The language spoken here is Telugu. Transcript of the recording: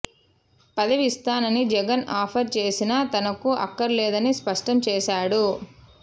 పదవి ఇస్తానని జగన్ ఆఫర్ చేసినా తనకు అక్కర్లేదని స్పష్టం చేశాడు